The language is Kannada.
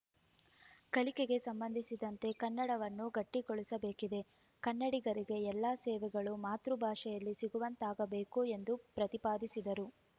ಕಲಿಕೆಗೆ ಸಂಬಂಧಿಸಿದಂತೆ ಕನ್ನಡವನ್ನು ಗಟ್ಟಿಗೊಳಿಸಬೇಕಿದೆ ಕನ್ನಡಿಗರಿಗೆ ಎಲ್ಲಾ ಸೇವೆಗಳು ಮಾತೃಭಾಷೆಯಲ್ಲಿ ಸಿಗುವಂತಾಗಬೇಕು ಎಂದು ಪ್ರತಿಪಾದಿಸಿದರು